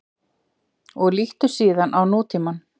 Og líttu síðan á nútímann.